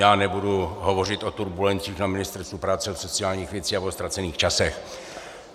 Já nebudu hovořit o turbulencích na Ministerstvu práce a sociálních věcí a o ztracených časech.